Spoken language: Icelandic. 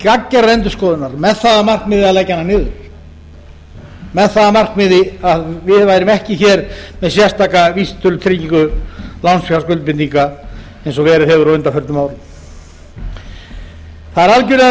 gagngerðrar endurskoðunar með það að markmiði að leggja hana niður með það að markmiði að við værum ekki með sérstaka vísitölutryggingu lánsfjárskuldbindinga eins og verið hefur á undanförnum árum það er algerlega